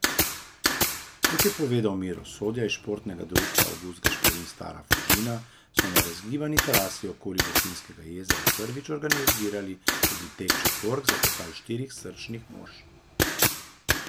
Kot je povedal Miro Sodja iz Športnega društva Avgust Gašperin Stara Fužina, so na razgibani trasi okoli Bohinjskega jezera prvič organizirali tudi tek četvork za pokal štirih srčnih mož.